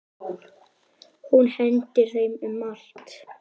Hún hendir þeim um allt.